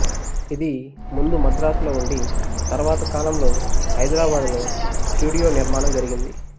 ఇది ముందు మద్రాసులో ఉండి తర్వాత కాలంలో హైదరాబాదులో స్టుడియో నిర్మాణం జరిగింది